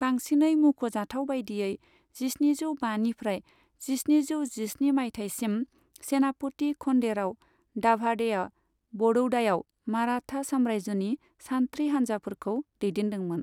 बांसिनै मुंख'जाथाव बायदियै, जिस्निजौ बानिफ्राय जिस्निजौ जिस्नि मायथाइसिम, सेनापति खन्डेराव दाभाडेआ बड़ौदायाव मराठा सामरायजोनि सान्थ्रि हानजाफोरखौ दैदेनदोंमोन।